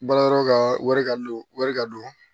Baarayɔrɔ ka wari ka don wari ka don